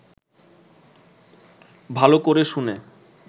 ভালো করে শুনে